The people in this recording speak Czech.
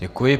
Děkuji.